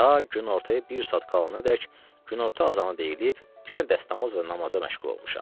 Ta günortaya bir saat qalanadək günorta azanı deyilib yenə dəstəmaz və namaza məşğul olmuşam.